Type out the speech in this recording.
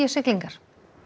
siglingar